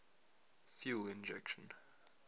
fuel injection